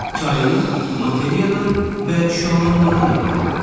Kainat materiyadan və şüalanmadan ibarətdir.